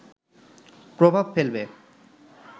প্রভাব ফেলবে